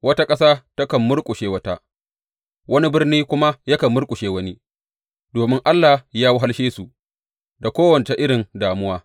Wata ƙasa takan murƙushe wata, wani birni kuma yakan murƙushe wani, domin Allah ya wahalshe su da kowace irin damuwa.